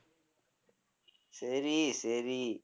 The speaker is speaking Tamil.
சரி சரி